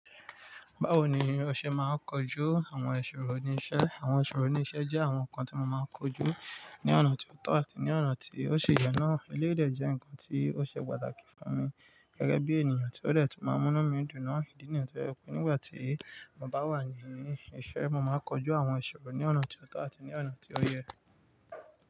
Báwo ni o ṣe máa ń kojú àwọn ìṣòro ní iṣẹ́? Àwọn ìṣòro ní iṣẹ́ jẹ́ àwọn nǹkan tí mo máa ń kojú ní ọ̀nà tó tọ́ àti ní ọ̀nà tí ó ṣe yọ́nà. Elédè jẹ́ nǹkan tí ó ṣe pàtàkì fún mi gẹ́gẹ́ bí ènìyàn tí ó dẹ̀tì máa múná mí dùná ìdí nìyẹn tí ó jẹ́ pé nígbà tí mo bá wà ní iṣẹ́, mo máa ń kojú àwọn ìṣòro ní ọ̀nà tó tọ́ àti ní ọ̀nà tí ó yẹ.